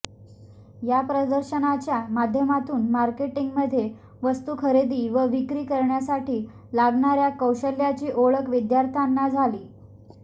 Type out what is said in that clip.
या प्रदर्शनाच्या माध्यमातून मार्केटींगमध्ये वस्तू खरेदी व विक्री करण्यासाठी लागणाऱया कौशल्याची ओळख विद्यार्थ्यांना झाली